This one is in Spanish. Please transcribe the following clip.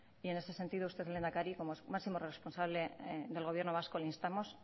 en ese sentido usted lehendakari como máximo responsable del gobierno vasco le instamos